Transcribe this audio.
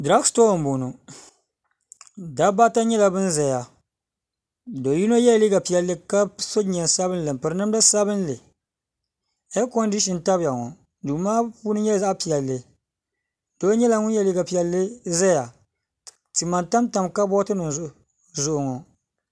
Duro shetoo n boŋɔ dabbaa ata nyɛla ban zaya do yino yela leega piɛli ka so jinjam sabinli n piri namda sabinli ɛi condishin n tabi ya ŋɔ duu maa puuni nyɛla zaɣa piɛli doo nyɛla ŋun yɛ liga piɛli n zaya tima n tam tam kabooti nim zuɣu ŋɔ